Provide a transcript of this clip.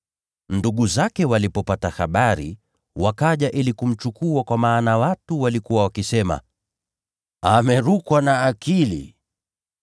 Ndugu zake walipopata habari wakaja ili kumchukua kwa maana watu walikuwa wakisema, “Amerukwa na akili.”